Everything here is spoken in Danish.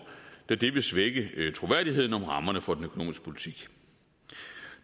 da det vil svække troværdigheden om rammerne for den økonomiske politik